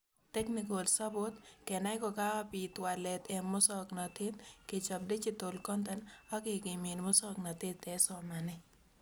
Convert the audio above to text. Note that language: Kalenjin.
Technical support ,kenai kokabit walet eng musoknotet , kechob digital content ak kekimit musoknotet eng somanet